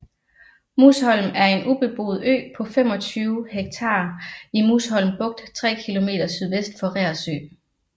Musholm er en ubeboet ø på 25 ha i Musholm Bugt 3 km sydvest for Reersø